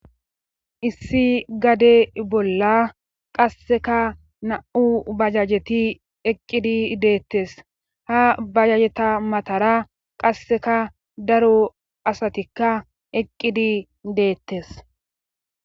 issi gade bolla qasseka na7u bajajeti eqqidi deettes ha bajajeta matara qasseka daro asatikka eqqidi deettes